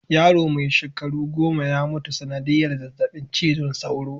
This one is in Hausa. Yaro mai shekaru goma ya mutu ta sanadiyar zazzabin cizon soro.